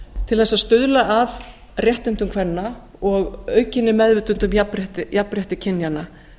til þess að stuðla að réttindum kvenna og aukinni meðvitund um jafnrétti kynjanna